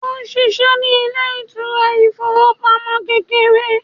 òun sìsé ní ilé ìṣúná ifowopamọsí kékeré